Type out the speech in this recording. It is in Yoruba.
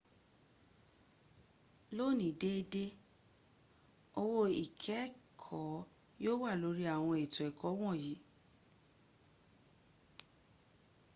lóní déédé owó ikẹ́ẹ̀kẹ́ yíò wà lórí àwọn ètò ẹ̀kọ́ wọ̀nyí